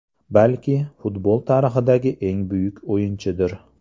Balki, futbol tarixidagi eng buyuk o‘yinchidir.